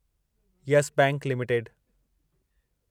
Yes Bank limited